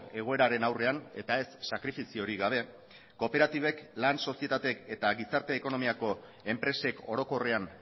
egoeraren aurrean eta ez sakrifiziorik gabe kooperatibek lan sozietateek eta gizarte ekonomiako enpresek orokorrean